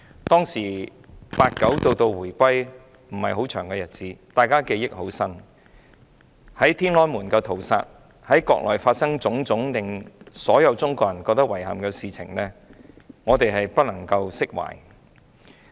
對於在天安門廣場發生的屠殺事件，以及在國內發生的種種令所有中國人感到遺憾的事情，我們無法釋懷。